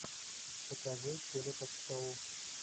покажи теле ток шоу